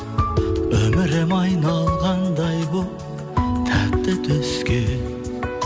өмірім айналғандай болып тәтті түске